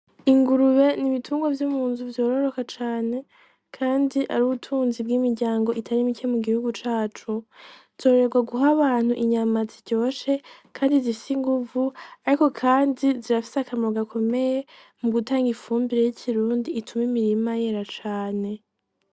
Ingurube ni ibitungo vy'umu nzu vyororoka cane, kandi ari ubutunzi bw'imiryango itari mite mu gihugu cacu zorrerwa guho abantu inyama ziryoshe, kandi zisinguvu, ariko, kandi zirafise akamawu gakomeye mu gutanga ifumbire y'ikirundi ituma imirima yera cane.